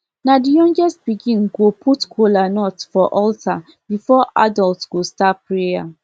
na the youngest pikin go put kolanut for altar before adult go start prayer